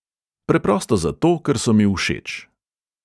Preprosto zato, ker so mi všeč.